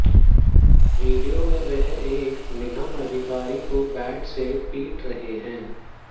video में वह एक निगम अधिकारी को बैट से पीट रहे हैं